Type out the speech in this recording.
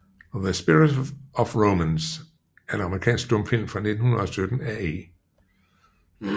The Spirit of Romance er en amerikansk stumfilm fra 1917 af E